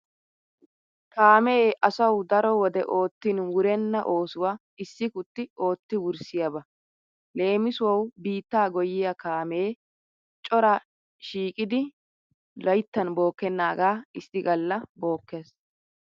Kaamee asawu daro wode oottin wurenna oosuwa issi kutti ootti wurssiyaba. Leemisuwawu biittaa goyyiya kaamee cora shiiqidi layttan bookkennaagaa issi galla bookkees.